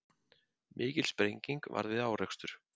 Mikil sprenging varð við árekstur